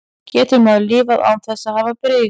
Getur maður lifað án þess að hafa bris?